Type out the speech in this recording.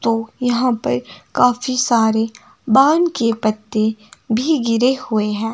तो यहां पर काफी सारे बान के पत्ते भी गिरे हुए हैं।